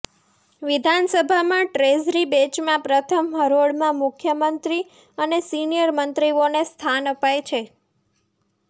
વિધાનસભામાં ટ્રેઝરી બેચમાં પ્રથમ હરોળમાં મુખ્યમંત્રી અને સિનિયર મંત્રીઓને સ્થાન અપાય છે